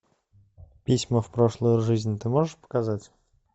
письма в прошлую жизнь ты можешь показать